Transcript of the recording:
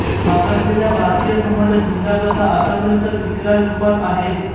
मागासलेल्या भारतीय समाजात हुंडा प्रथा आत्तापर्यंत विकराल रूपात आहे